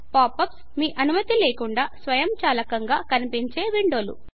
pop ups మీ అనుమతి లేకుండా స్వయంచాలకంగా కనిపించే విండో లు